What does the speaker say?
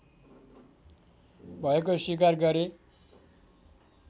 भएको स्वीकार गरे